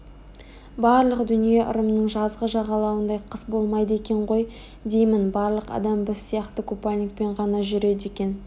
барлық дүние ырымның жазғы жағалауындай қыс болмайды екен ғой деймін барлық адам біз сияқты қупальникпен ғана жүреді екен